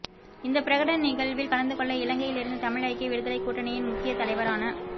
இந்தப் பிரகடன நிகழ்வில் கலந்துகொள்ள இலங்கையிலிருந்து தமிழ் ஐக்கிய விடுதலைக் கூட்டணியின் முக்கிய தலைவரான